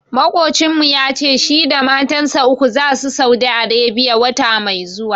Maƙocinmu ya ce shi da matansa uku zasu Saudi Arebiya, wata mai zuwa.